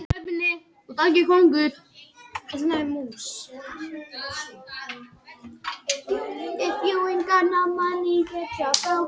Öll ljós fara niður nema spott á Imma.